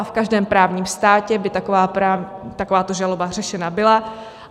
A v každém právním státě by takováto žaloba řešena byla.